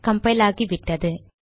compile ஆகிவிட்டது